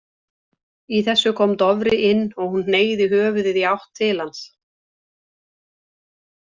Í þessu kom Dofri inn og hún hneigði höfuðið í átt til hans.